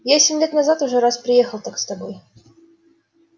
я семь лет назад уже раз приехал так с тобой